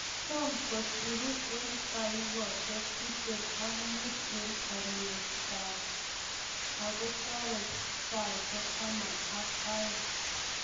Tam kosiru en taikosiek tiptem ak mut en oleyatat ako tore saisiek taman ak oeng'.